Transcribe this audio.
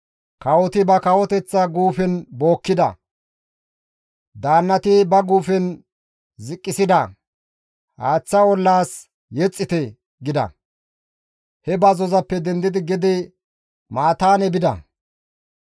Kawoti ba kawoteththa guufen bookkida; daannati ba guufen ziqqisida; haaththa ollaas yexxite» gida. He bazzozappe dendidi gede Mataane bida.